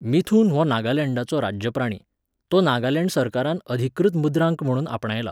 मिथुन हो नागालँडाचो राज्य प्राणी. तो नागालँड सरकारान अधिकृत मुद्रांक म्हूण आपणायला.